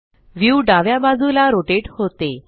view डाव्या बाजूला rotate होते